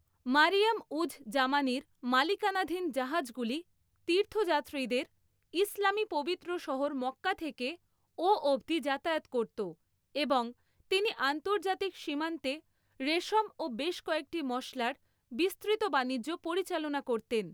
মারিয়ম উজ জামানির মালিকানাধীন জাহাজগুলি তীর্থযাত্রীদের ইসলামী পবিত্র শহর মক্কা থেকে ও অবধি যাতায়াত করত এবং তিনি আন্তর্জাতিক সীমান্তে রেশম ও বেশ কয়েকটি মশলার বিস্তৃত বাণিজ্য পরিচালনা করতেন।